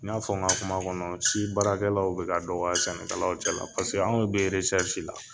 N y'a fɔ n ka kuma kɔnɔ si baarakɛlaw bɛ ka dɔgɔ sɛnɛkɛlalaw cɛla la paseke an be resɛrisi la